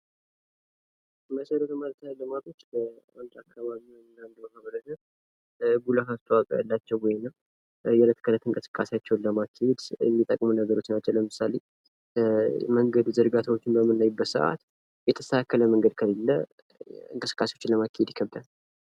መሰረተ ልማቶች በአንድ አካባቢ ወይም ማህበረሰብ ጉልህ አስተዋጾ ያላቸው ወይንም የለት ለእለት እንቅስቃሴያቸውን ለማካሄድ የሚጠቅሙ ነገሮች ናቸው ለምሳሌ የመንገድ ዝርጋታዎችን በምናይበት ሰአት የተስተካከለ መንገድ ከሌለ እንቅስቃሴዎችን ለማካሄድ ይጠቅማል።